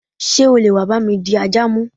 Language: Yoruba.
Sé o leè wa bá mi di ajà mu?